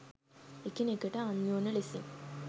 එකිනෙකට අන්‍යෝන්‍ය ලෙසින්